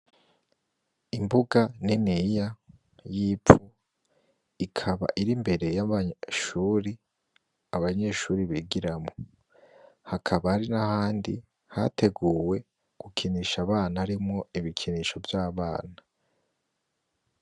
Imbuga niniya yivu Ikaba irimbere yabari mwishure abanyeshure ,bigiramwo haka Hari nahandi hateguwe gukinisha abana , gukinisha abana harimwo ibikinisho vyabana.